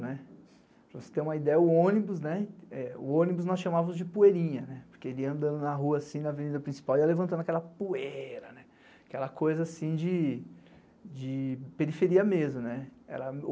Para você ter uma ideia, o ônibus nós chamávamos de poeirinha, porque ele andava na rua assim, na avenida principal, e ia levantando aquela poeira, aquela coisa assim de periferia mesmo.